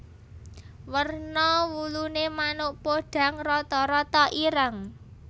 Werna wuluné manuk podhang rata rata ireng